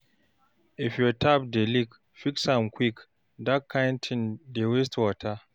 If your tap dey leak, fix am quick, dat kain tin dey waste water.